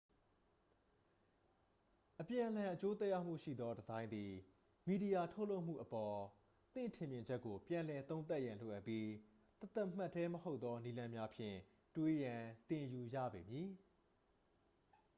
အပြန်အလှန် အကျိုးသက်ရောက်မှုရှိသော ဒီဇိုင်းသည် မီဒီယာ ထုတ်လုပ်မှုအပေါ် သင့်ထင်မြင်ချက်ကို ပြန်လည်သုံးသပ်ရန် လိုအပ်ပြီး တသမတ်တည်း မဟုတ်သော နည်းလမ်းများဖြင့် တွေးရန်သင်ယူရပေမည်